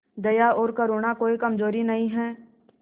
दया और करुणा कोई कमजोरी नहीं है